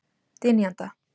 Dynjanda